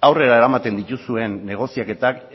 aurrera eramaten dituzuen negoziaketak